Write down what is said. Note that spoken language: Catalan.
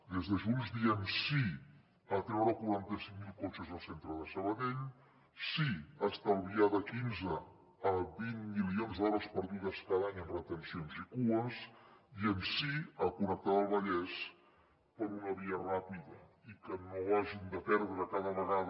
des de junts diem sí a treure quaranta cinc mil cotxes del centre de sabadell sí a estalviar de quinze a vint milions d’hores perdudes cada any en retencions i cues diem sí a connectar el vallès per una via ràpida i que no hagin de perdre cada vegada